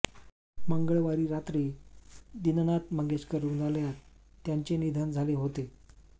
मंगळवारी रात्री दिनानाथ मंगेशकर रुग्णालयात त्यांचे निधन झाले होते